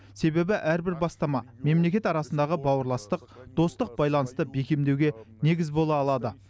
себебі әрбір бастама мемлекет арасындағы бауырластық достық байланысты бекемдеуге негіз бола алады